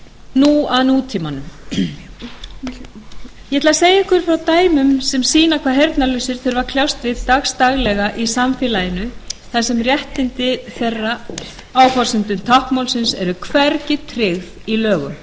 nú að nútímanum ég ætla að segja ykkur frá dæmum sem sýna hvað heyrnarlausir þurfa að kljást við dagsdaglega í samfélaginu þar sem réttindi þeirra á forsendum táknmálsins eru hvergi tryggð í lögum